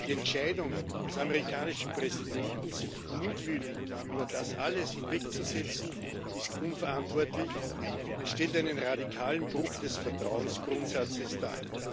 Die Entscheidung des amerikanischen Präsidenten, sich mutwillig über das alles hinwegzusetzen, ist unverantwortlich und stellt einen radikalen Bruch des Vertrauensgrundsatzes dar.